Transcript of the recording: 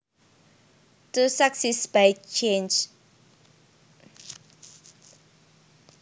To succeed by chance